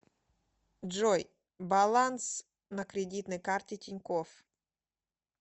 джой баланс на кредитной карте тинькофф